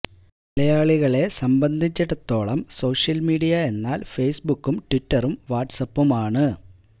മലയാളികളെ സംബന്ധിച്ചിടത്തോളം social media എന്നാൽ ഫേസ്ബുക്കും ട്വിറ്ററും വാട്സ് ആപ്പുമാണ്